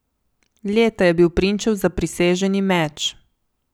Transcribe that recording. Leta je bil prinčev zapriseženi meč.